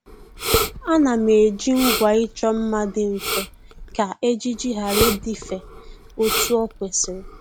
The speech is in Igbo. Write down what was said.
Ànà m eji ngwa ịchọ mma dị mfe kà ejiji ghara ịdịfe otu o kwesịrị